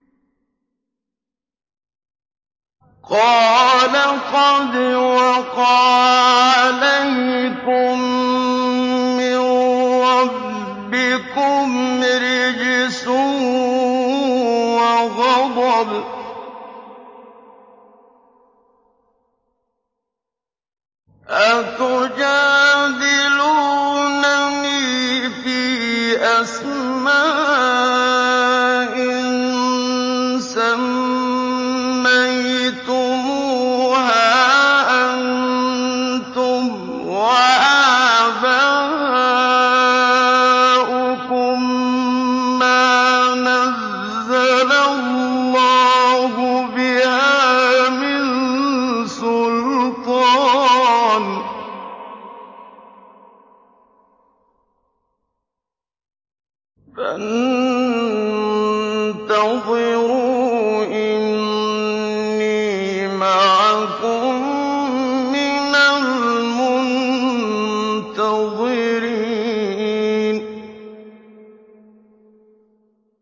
قَالَ قَدْ وَقَعَ عَلَيْكُم مِّن رَّبِّكُمْ رِجْسٌ وَغَضَبٌ ۖ أَتُجَادِلُونَنِي فِي أَسْمَاءٍ سَمَّيْتُمُوهَا أَنتُمْ وَآبَاؤُكُم مَّا نَزَّلَ اللَّهُ بِهَا مِن سُلْطَانٍ ۚ فَانتَظِرُوا إِنِّي مَعَكُم مِّنَ الْمُنتَظِرِينَ